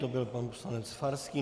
To byl pan poslanec Farský.